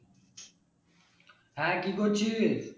হ্যাঁ কী করছিস?